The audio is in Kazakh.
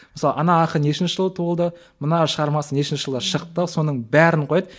мысалы ана ақын нешінші жылы туылды мына шығармасы нешінші жылы шықты соның бәрін қояды